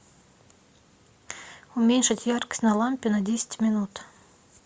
уменьшить яркость на лампе на десять минут